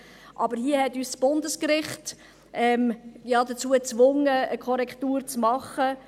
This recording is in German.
Doch hier hat uns das Bundesgericht dazu gezwungen, eine Korrektur vorzunehmen.